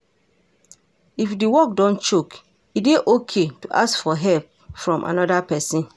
if di work don choke, e dey okay to ask for help from anoda person